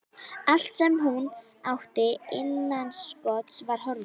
Allt sem hún átti innanstokks var horfið.